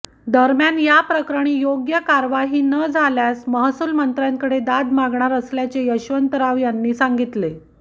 दरम्यान या प्रकरणी योग्य कार्यवाही न झाल्यास महसूल मंत्र्यांकडे दाद मागणार असल्याचे यशवंतराव यांनी सांगितले